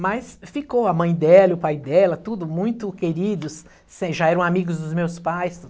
Mas ficou a mãe dela, e o pai dela, tudo, muito queridos, sem, já eram amigos dos meus pais.